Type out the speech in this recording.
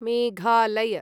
Meghalaya